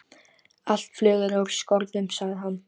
Allt flug er úr skorðum, sagði hann.